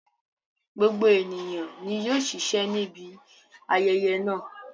Gbogbo ènìyàn ni yóò ṣiṣẹ́ ní ibi ayẹyẹ náà